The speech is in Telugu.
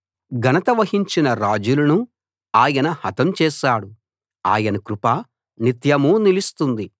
ఘనత వహించిన రాజులను ఆయన హతం చేశాడు ఆయన కృప నిత్యమూ నిలుస్తుంది